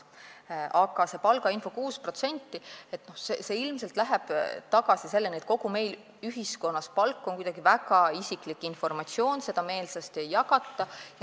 Aga see palgainfo 6% läheb ilmselt tagasi selleni, et kogu meie ühiskonnas on palk kuidagi väga isiklik informatsioon, mida meelsasti ei jagata.